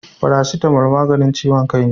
Farasitamo maganin ciwon kai ne